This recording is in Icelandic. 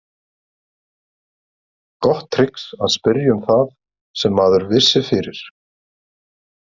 Gott trix að spyrja um það sem maður vissi fyrir.